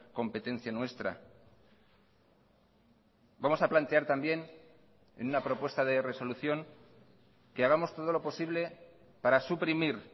competencia nuestra vamos a plantear también en una propuesta de resolución que hagamos todo lo posible para suprimir